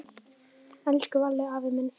Elsku Valli afi minn.